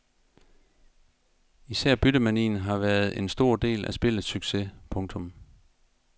Især byttemanien har været en stor del af spillets succes. punktum